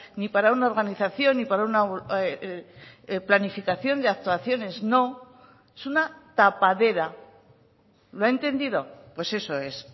ni para una organización ni para una planificación de actuaciones no es una tapadera lo ha entendido pues eso es